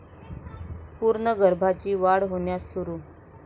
पूर्ण गर्भाची वाढ होण्यास सुरू